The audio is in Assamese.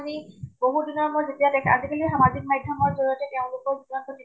আমি বহুত দিনৰ মোৰত দেখা, আজিকালি সামাজিক মাধ্য়্মৰ জৰিয়তে তেওঁলোকক